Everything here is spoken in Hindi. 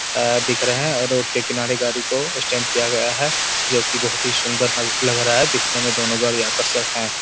आ दिख रहा हैं रोड के किनारे गाड़ी को स्टैंड किया गया है जो की बहुत ही सुंदर न लग रहा है दिखने में दोनों गाड़ी आकर्षक हैं।